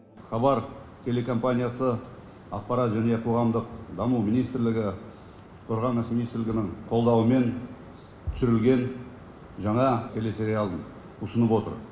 хабар телекомпаниясы ақпарат және қоғамдық даму министрлігі қорғаныс министрлігінің қолдауымен түсірілген жаңа телесериалын ұсынып отыр